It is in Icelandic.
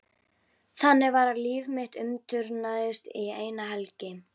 Þannig var að líf mitt umturnaðist eina helgi.